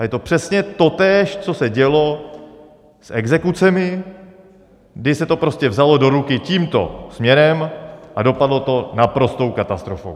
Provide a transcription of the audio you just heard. A je to přesně totéž, co se dělo s exekucemi, že se to prostě vzalo do ruky tímto směrem a dopadlo to naprostou katastrofou.